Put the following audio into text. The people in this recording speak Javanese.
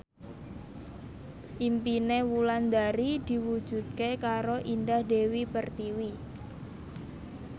impine Wulandari diwujudke karo Indah Dewi Pertiwi